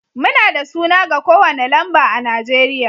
Muna da suna ga kowane lamba a Najeriya